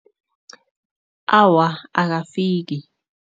Awa, akafiki.